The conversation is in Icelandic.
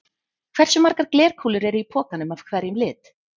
Hversu margar glerkúlur eru í pokanum af hverjum lit?